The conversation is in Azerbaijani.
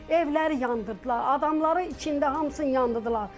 Evləri yandırdılar, adamları içində hamısını yandırdılar.